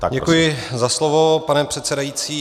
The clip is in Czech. Děkuji za slovo, pane předsedající.